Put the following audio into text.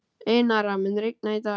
Einara, mun rigna í dag?